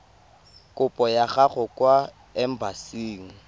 kopo ya gago kwa embasing